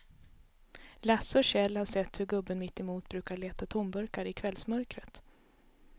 Lasse och Kjell har sett hur gubben mittemot brukar leta tomburkar i kvällsmörkret.